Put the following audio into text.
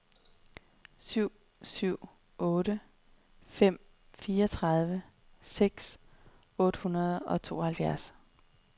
syv syv otte fem fireogtredive seks hundrede og tooghalvfjerds